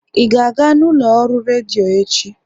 Ị ga-aga ụlọ ọrụ redio echi?